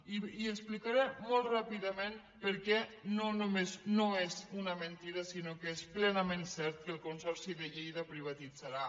i explicaré molt ràpidament per què no només no és una mentida sinó que és plenament cert que el consorci de lleida privatitzarà